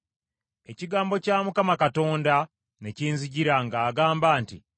Ekigambo kya Mukama Katonda ne kinzijira, ng’agamba nti,